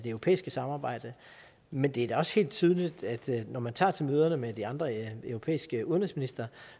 europæiske samarbejde men det er da også helt tydeligt at når man tager til møder med de andre europæiske udenrigsministre